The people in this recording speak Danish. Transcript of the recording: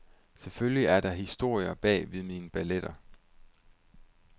Selvfølgelig er der historier bag ved mine balletter.